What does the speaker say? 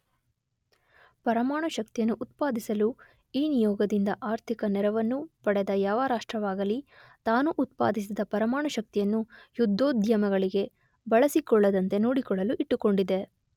ಪರಮಾಣುಶಕ್ತಿಯನ್ನು ಉತ್ಪಾದಿಸಲು ಈ ನಿಯೋಗದಿಂದ ಆರ್ಥಿಕ ನೆರವನ್ನು ಪಡೆದ ಯಾವ ರಾಷ್ಟ್ರವಾಗಲಿ ತಾನು ಉತ್ಪಾದಿಸಿದ ಪರಮಾಣುಶಕ್ತಿಯನ್ನು ಯುದ್ಧೋದ್ಯಮಗಳಿಗೆ ಬಳಸಿಕೊಳ್ಳದಂತೆ ನೋಡಿಕೊಳ್ಳಲು ಇಟ್ಟುಕೊಂಡಿದೆ.